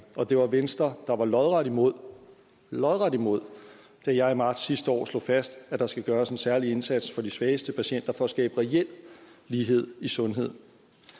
og det var venstre der var lodret imod lodret imod da jeg i marts sidste år slog fast at der skal gøres en særlig indsats for de svageste patienter for at skabe reel lighed i sundhed